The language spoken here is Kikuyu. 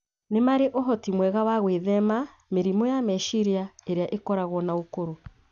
nĩ marĩ ũhoti mwega wa gwĩthema mĩrimũ ya meciria ĩrĩa ĩkoragwo na ũkũrũ.